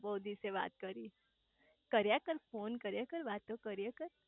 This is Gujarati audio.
બહુ દિવસે વાત કરી કર્યા કર ફોને કર્યા કર વાતો કર્યા કર